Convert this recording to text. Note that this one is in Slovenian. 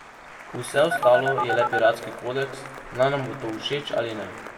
Vse ostalo je le piratski kodeks, naj nam bo to všeč ali ne.